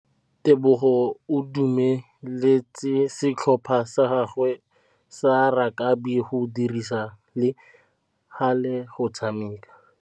Tebogô o dumeletse setlhopha sa gagwe sa rakabi go dirisa le galê go tshameka.